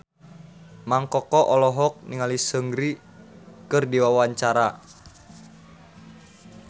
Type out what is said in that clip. Mang Koko olohok ningali Seungri keur diwawancara